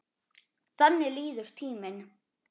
Þannig líður tíminn.